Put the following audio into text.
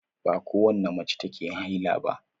Ba kowace mace take haila ba.